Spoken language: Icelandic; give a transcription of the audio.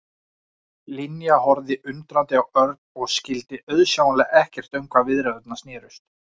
Linja horfði undrandi á Örn og skyldi auðsjáanlega ekkert um hvað viðræðurnar snerust.